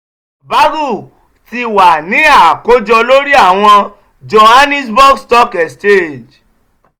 bagl ti wa ni akojọ lori awọn johannesburg stock exchange.